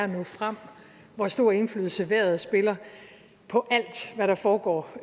nå frem hvor stort indflydelse vejret spiller på alt hvad der foregår